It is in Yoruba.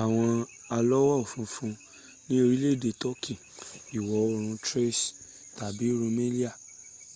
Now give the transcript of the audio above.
awon alawofunfun ni orile ede turkey iwo oorun thrace tabi rumelia